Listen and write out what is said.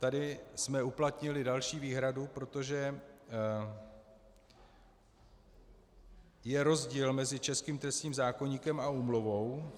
Tady jsme uplatnili další výhradu, protože je rozdíl mezi českým trestním zákoníkem a úmluvou.